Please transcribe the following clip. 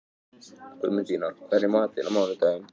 Guðmundína, hvað er í matinn á mánudaginn?